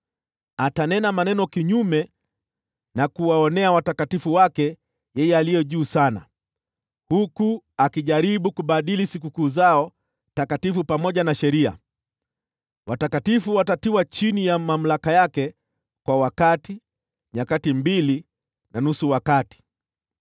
Atanena maneno kinyume cha Yeye Aliye Juu Sana na kuwaonea watakatifu wake, huku akijaribu kubadili majira na sheria. Watakatifu watatiwa chini ya mamlaka yake kwa wakati, nyakati mbili, na nusu wakati.